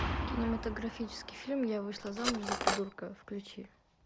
кинематографический фильм я вышла замуж за придурка включи